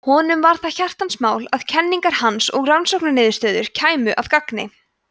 honum var það hjartans mál að kenningar hans og rannsóknarniðurstöður kæmu að gagni